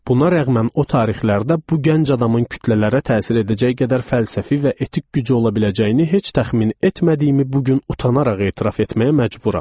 Buna rəğmən o tarixlərdə bu gənc adamın kütlələrə təsir edəcək qədər fəlsəfi və etik gücü ola biləcəyini heç təxmin etmədiyimi bu gün utanaraq etiraf etməyə məcburam.